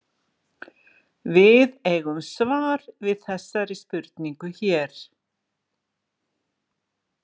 Við eigum svar við þessari spurningu hér.